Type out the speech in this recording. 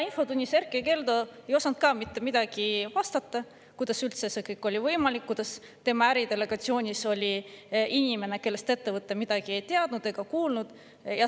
Infotunnis Erkki Keldo ei osanud ka mitte midagi vastata selle kohta, kuidas üldse see kõik oli võimalik, kuidas tema äridelegatsioonis oli inimene, kellest ettevõte midagi ei teadnud ega olnud kuulnud.